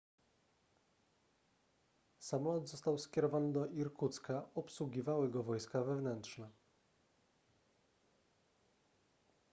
samolot został skierowany do irkucka obsługiwały go wojska wewnętrzne